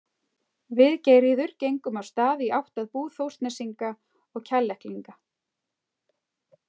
Við Geirríður gengum af stað í átt að búð Þórsnesinga og Kjalleklinga.